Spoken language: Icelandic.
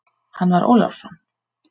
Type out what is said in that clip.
Hann var Ólafsson.